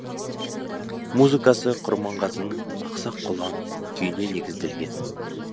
музыкасы құрманғазының ақсақ құлан күйіне негізделген